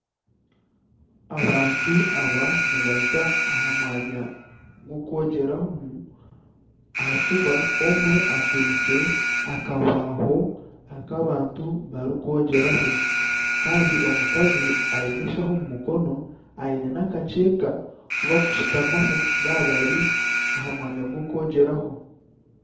Abantu aba nibaza aha mwanya gw'okwogyeramu ahakuba omwe akwaiste akabaaho aku abantu barikwogyeraho. Kandi omukazi aine enshaho omu mukono aine n'akakyeka aku barikushutamaho baaba bari aha mwanya gw'okwogyeraho.